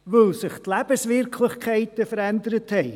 – Weil sich die Lebenswirklichkeiten verändert hatten.